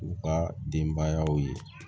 U ka denbayaw ye